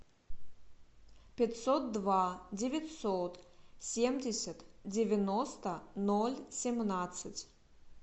пятьсот два девятьсот семьдесят девяносто ноль семнадцать